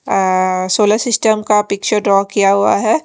आ आ solar system का picture draw किया हुआ है।